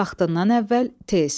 Vaxtından əvvəl tez.